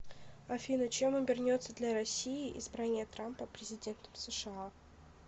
афина чем обернется для россии избрание трампа президентом сша